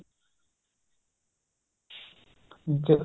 ਅਹ